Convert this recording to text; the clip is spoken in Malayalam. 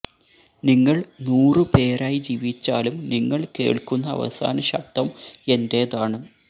നിങ്ങൾ നൂറു പേരായി ജീവിച്ചാലും നിങ്ങൾ കേൾക്കുന്ന അവസാന ശബ്ദം എന്റെതാണ്